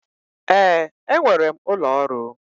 Ee, enwere m ụlọ ọrụ.